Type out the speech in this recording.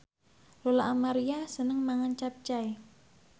Lola Amaria seneng mangan capcay